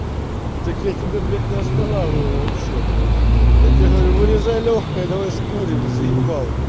так я тебе блядь не останавливаю вообще блядь я тебе говорю вырезай лёгкое давай скурим заебал